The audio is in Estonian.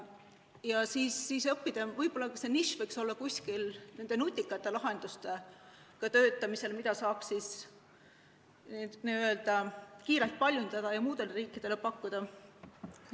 Ja siis õppida – võib-olla see nišš võiks olla – kuskil nende nutikate lahenduste väljatöötamist, mida saaks n-ö kiirelt paljundada ja muudele riikidele pakkuda.